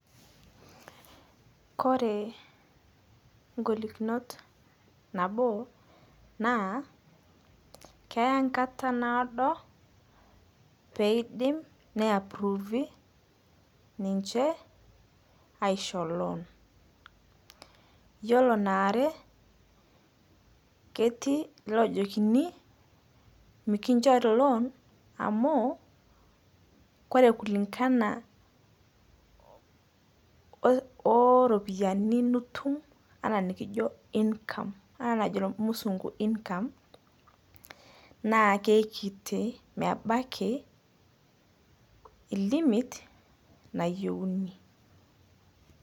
Kore ng'olikunot nabo naa, keya enkata naado, pee idim ne approve ninche aisholol, iyiolo naare, ketiu iloojokini mikinchori loan amu ore kulingana ooropiyiani nitum anaa enikijo income anaa enajo irmusunku income naa kekiti mebaki i limit nayieuni.